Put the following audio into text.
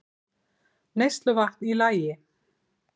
Neysluvatn í lagi